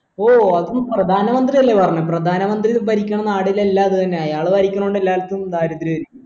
ഓ അത് പ്രധാന മന്ത്രി അല്ലെ പറഞ്ഞെ പ്രധാന മന്ത്രി ഭരിക്കുന്ന നാടിലെല്ലാം അത് തന്നെന്ന് അയാൾ ഭരിക്കുന്നോണ്ട് എല്ലാർക്കും ദരിദ്രായിരിക്കും